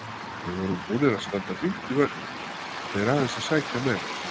Við vorum búnir að standa fínt í vörninni og þeir aðeins að sækja meira.